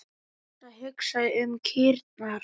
Dísa hugsaði um kýrnar.